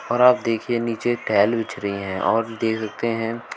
और आप देखिए नीचे टाइल बिछ रही हैं और हैं।